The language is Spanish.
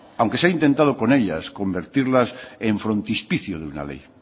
aunque se he intentado con ellas convertirlas en frontispicio de una ley